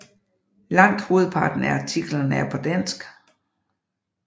Langt hovedparten af artiklerne er på dansk